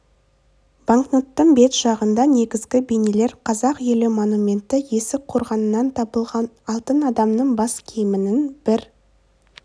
банкноттың бет жағындағы негізгі бейнелер қазақ елі монументі есік қорғанынан табылған алтын адамның бас киімінің бір